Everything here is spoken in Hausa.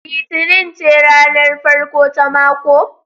Litinin ce ranar farko ta mako?